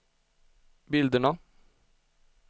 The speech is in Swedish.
bilderna